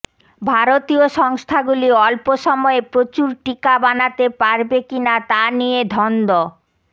ভারতীয় সংস্থাগুলি অল্প সময়ে প্রচুর টিকা বানাতে পারবে কি না তা নিয়ে ধন্ধ